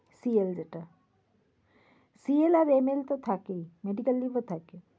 CL যেটা। CL আর NL তো থাকেই। medical leave ও থাকে।